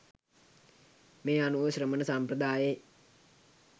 මේ අනුව ශ්‍රමණ සම්ප්‍රදායේ